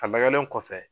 A lagɛlen kɔfɛ